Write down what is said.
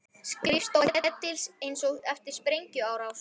Skrifstofa Ketils eins og eftir sprengjuárás!